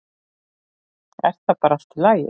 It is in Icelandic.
Er það bara í lagi?